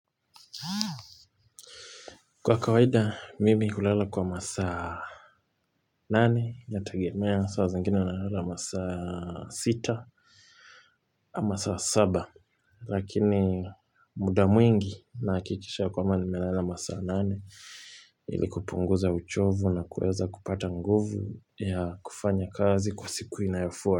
Kwa kawaida, mimi hulala kwa masaa nane, natagemea saa zingine na lala masaa sita, ama saa saba, lakini muda mwingi nahikikisha ya kwamba nimelala masaa nane, ili kupunguza uchovu na kuweza kupata nguvu ya kufanya kazi kwa siku inayo fua.